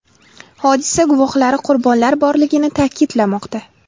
Hodisa guvohlari qurbonlar borligini ta’kidlamoqda.